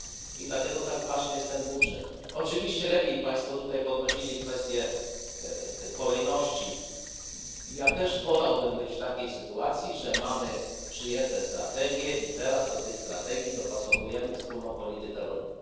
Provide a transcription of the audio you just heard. I dlatego tak ważny jest ten budżet. Państwo tutaj podnosili kwestię kolejności, ja też wolałbym być w takiej sytuacji, że mamy przyjęte strategie i teraz do tych strategii dopasowujemy wspólną politykę rolną.